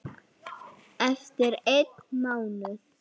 Eftir einn mánuð?